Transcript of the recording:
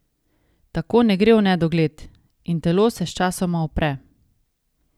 Tako ne gre v nedogled in telo se sčasoma upre.